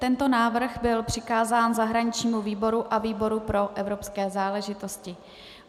Tento návrh byl přikázán zahraničnímu výboru a výboru pro evropské záležitosti.